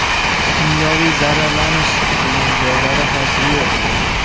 Kimyoviy zararlanish’ degan joylar hozir yo‘q.